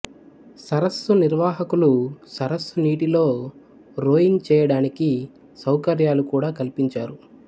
సరస్సు నిర్వాహకులు సరస్సు నీటిలో రోయింగ్ చేయడానికి సౌకర్యాలు కూడా కల్పించారు